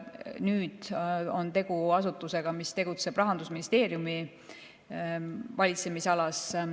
Nüüd on tegu asutusega, mis tegutseb Rahandusministeeriumi valitsemisalas.